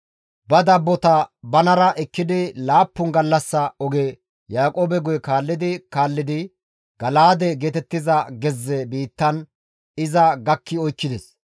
Ba dabbota banara ekkidi laappun gallassa oge Yaaqoobe guye kaallidi kaallidi Gala7aade geetettiza gezze biittan iza gakki oykkides.